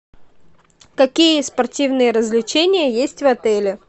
какие спортивные развлечения есть в отеле